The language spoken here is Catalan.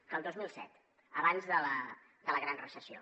que el dos mil set abans de la gran recessió